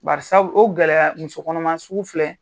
Bari sabu o gɛlɛya musokɔnɔma sugu filɛ